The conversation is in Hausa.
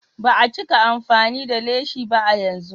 Ba a cika amfani da leshi ba a yanzu.